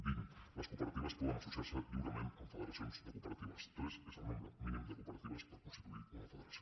vint les cooperatives poden associar se lliurement amb federacions de cooperatives tres és el nombre mínim de cooperatives per constituir una federació